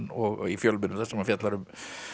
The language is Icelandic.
og í fjölmiðlum þar sem hann fjallar um